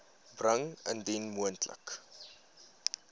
bring indien moontlik